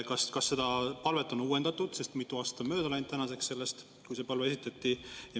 Kas seda palvet on uuendatud, sest mitu aastat on mööda läinud sellest, kui see palve esitati?